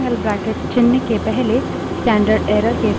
standard error redirect करना उसी तरह होता है